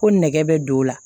Ko nɛgɛ bɛ don o la